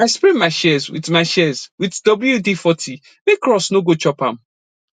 i spray my shears with my shears with wd40 make rust no go chop am